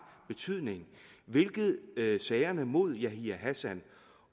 betydning hvilket sagerne mod yahya hassan